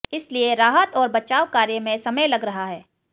इसलिए राहत और बचाव कार्य में समय लग रहा है